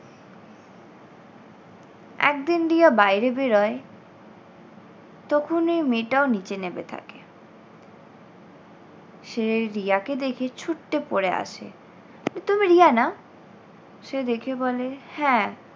একদিন রিয়া বাইরে বেরোয় তখন ওই মেয়েটাও নিচে নেমে থাকে। সে রিয়াকে দেখে ছুট্টে পড়ে আসে এই তুমি রিয়া না? সে দেখে বলে হ্যাঁ।